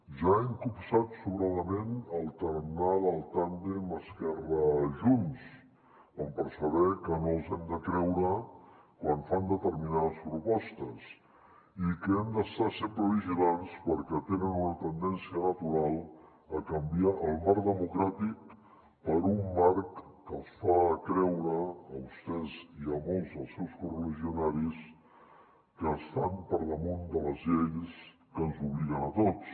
ja hem copsat sobradament el tarannà del tàndem esquerra junts com per saber que no els hem de creure quan fan determinades propostes i que hem d’estar sempre vigilants perquè tenen una tendència natural a canviar el marc democràtic per un marc que els fa creure a vostès i a molts dels seus correligionaris que estan per damunt de les lleis que ens obliguen a tots